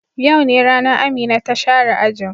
Yau ne ranan Amina ta share ajin.